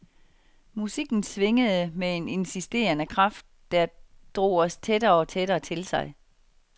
Musikken swingede med en insisterende kraft, der drog os tættere og tættere til sig.